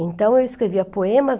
Então, eu escrevia poemas.